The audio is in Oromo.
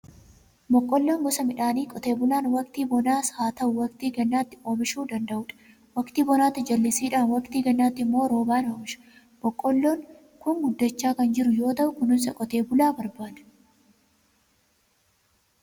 Boqqolloon gosa midhaanii qoteen bulaa waqtii bonaas haa ta'u, waqtii gannaatti oomishuu danda'udha. Waqtii bonaatti jallisiidhaan, waqtii gannaatti immoo roobaan oomisha. Boqqolloon kun guddachaa kan jiru yoo ta'u, kunuunsa qotee bulaa barbaada.